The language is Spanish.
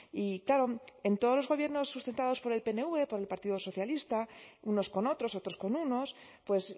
y claro en todos los gobiernos sustentados por el pnv por el partido socialista unos con otros otros con unos pues